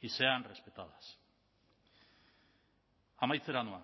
y sean respetadas amaitzera noa